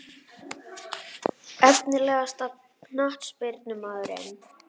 Efnilegasti knattspyrnumaðurinn?